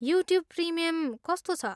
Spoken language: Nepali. युट्युब प्रिमियम कस्तो छ?